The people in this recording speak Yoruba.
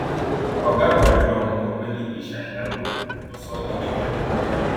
ọgá àgbà àjọ ọhún ọgbẹni ish ayinla ló ló sọ ọ di mímọ nílùú ìlọrin